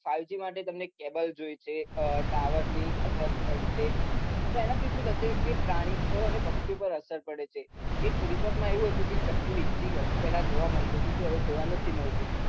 five G માટે cable જોવે tower એના થી શું થશે પ્રાણી પક્ષી ઉપર અસર પડે એક report માં એવું હતું કે ચકલી પેલા જોવા મળતી હતી હવે જોવા નથી મળતી